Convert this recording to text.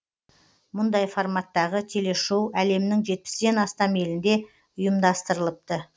мұндай форматтағы телешоу әлемнің жетпістен астам елінде ұйымдастырылыпты